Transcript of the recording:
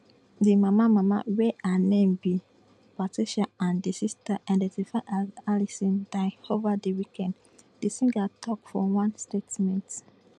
di mama mama wey her name be patricia and di sister identified as alison die ova di weekend di singer tok for one statement